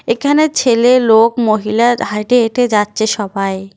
এখানে ছেলে লোক মহিলার হাইটে হেঁটে হেঁটে যাচ্ছে সবাই।